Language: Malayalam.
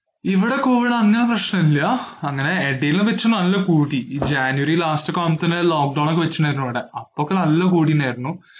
ഇവിടെ കോവിഡ് അങ്ങനെ പ്രശ്നനവില്ലാ, അങ്ങനെ എടയിൽവെച്ച് നല്ല കൂടി, ഈ ജാനുവരി last ഒക്കെ ആവുംത്തേന് lock down ഒക്കെ വെച്ചിട്ടിണ്ടായിരുന്നു ഇവിടെ, അപ്പോക്കെ നല്ല കൂടിയിണ്ടായിരുന്നു.